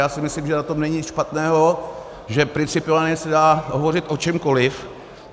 Já si myslím, že na tom není nic špatného, že principiálně se dá hovořit o čemkoliv.